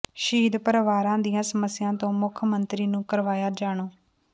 ਸ਼ਹੀਦ ਪਰਿਵਾਰਾਂ ਦੀਆਂ ਸਮੱਸਿਆਵਾਂ ਤੋਂ ਮੁੱਖ ਮੰਤਰੀ ਨੂੰ ਕਰਵਾਇਆ ਜਾਣੂ